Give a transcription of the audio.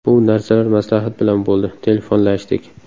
Bu narsalar maslahat bilan bo‘ldi, telefonlashdik.